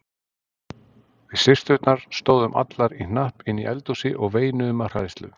Við systurnar stóðum allar í hnapp inni í eldhúsi og veinuðum af hræðslu.